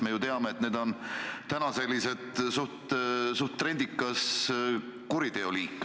Me ju teame, et see on selline suhteliselt trendikas kuriteoliik.